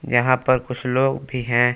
यहां पर कुछ लोग भी हैं।